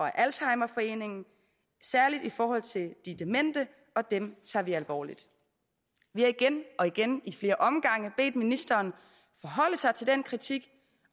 af alzheimerforeningen særlig i forhold til de demente og dem tager vi alvorligt vi har igen og igen i flere omgange bedt ministeren forholde sig til den kritik